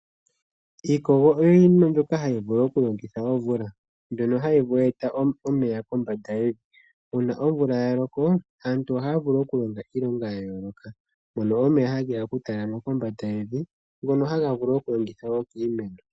Iikogo oyo yimwe mbyoka hayi vulu okulokitha omvula mbyono hayi eta omeya kombanda yevi. Uuna omvula ya loko aantu ohaya vulu okulonga iinima ya yooloka, mono omeya ha geya oku talama kombanda yevi, ngono haga vulu woo okulongithwa kiimeno.